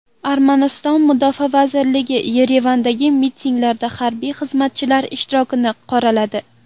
Armaniston mudofaa vazirligi Yerevandagi mitinglarda harbiy xizmatchilar ishtirokini qoraladi.